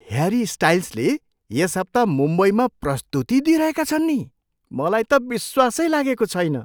Harry स्टाइल्सले यस हप्ता मुम्बईमा प्रस्तुति दिइरहेका छन् नि। मलाई त विश्वासै लागेको छैन।